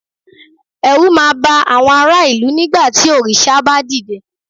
ẹrú ma ba àwọn ará ìlú nígbà tí òrìṣà ba dide